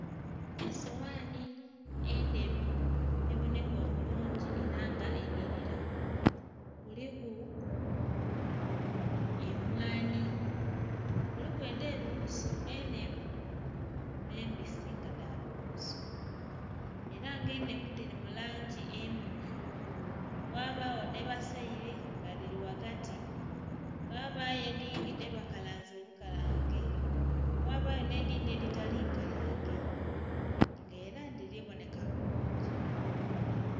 Esowani endheru ebonheka obulungi era nga enhirira kuliku emwanhi, kuliku edhebighusu enhenvu, nh' embisi nga dhabighusu, era nga enhenvu dhiri mulangi emmyufu ghabagho dhebaseere nga dhiri ghagati ghabagho edhindhi dhebakalanze obukalange, ghabagho nhedhindhi edhitali nkalange nga era dhiri bonheka bulungi.